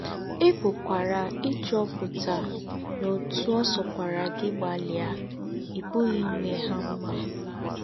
Ì̀ pùkwàrà íchúòputà nà ótú ọ̀ sọ̀kwàrà gí gbálìà, ì̀ pùghí ímè hà m̀mà.